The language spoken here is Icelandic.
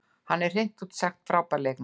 Hann er hreint út sagt frábær leikmaður.